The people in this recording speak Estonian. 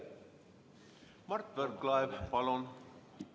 Mart Võrklaev, palun!